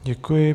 Děkuji.